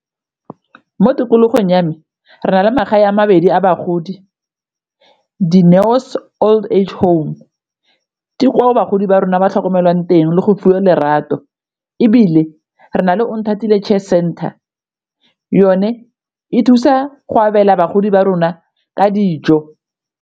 Mo tikologong ya me re na le magae a mabedi a bagodi, Dineo's old age home ke koo bagodi ba rona ba tlhokomelwang teng le go fiwa lerato. Ebile re na le Onthatile care center yone e thusa go abela bagodi ba rona ka dijo.